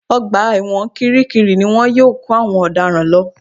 Ọgbà ẹ̀wọ̀n kiri kiri ni wọ́n yóò kó àwọn ọ̀daràn lọ